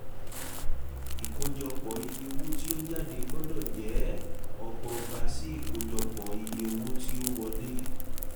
ìkójọpò iye owo ti o jade gbọ́dọ̀ je ọgbọgba sí ìkójọpò iye owo ti o wole